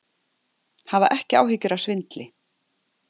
Hafa ekki áhyggjur af svindli